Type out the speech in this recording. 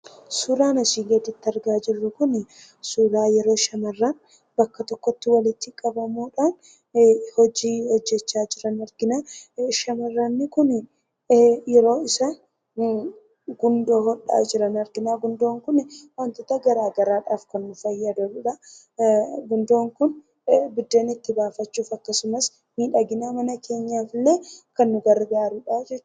Suuraan asii gadiitti argaa jirru kunii, suuraa yeroo shamarran bakka tokkotti walitti qabamuudhaan hojii hojjachaa jiran argina. Shamarran kun yeroo isaan gundoo hodhaa jiran arginaa. Gundoon kunii wantoota garaagaraadhaaf kan nuu fayyadaniidha. Gundoon kun biddeena itti baafachuuf akkasumas miidhagina mana keenyaaf illee kan nu gargaarudha jechhudha.